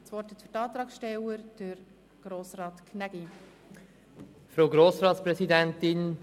Das Wort hat der Antragssteller, Grossrat Gnägi.